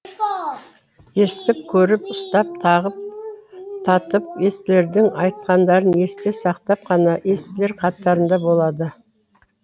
естіп көріп ұстап татып естілердің айтқандарын есте сақтап қана естілер қатарында болады